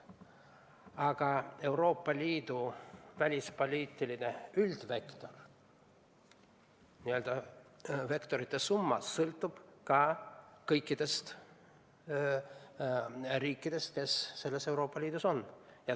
Aga Euroopa Liidu välispoliitiline üldvektor, n-ö vektorite summa, sõltub kõikidest riikidest, kes Euroopa Liidus on.